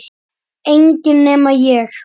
Enginn nema ég